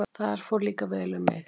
Þar fór líka vel um þig.